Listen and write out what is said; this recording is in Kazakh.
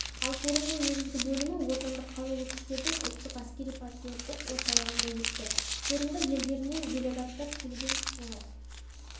ал форумның негізгі бөлімі отандық қарулы күштердің ұлттық әскери-патриоттық орталығында өтті форумға елдерінен делегаттар келген олар